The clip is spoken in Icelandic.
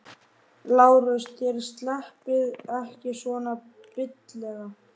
LÁRUS: Þér sleppið ekki svona billega.